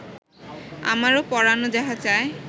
আমারো পরানো যাহা চায়